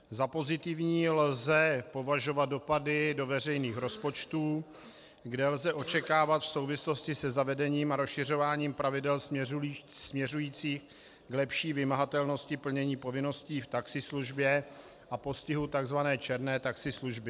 Za pozitivní lze považovat dopady do veřejných rozpočtů, kde lze očekávat v souvislosti se zavedením a rozšiřováním pravidel směřujících k lepší vymahatelnosti plnění povinností v taxislužbě a postihu tzv. černé taxislužby.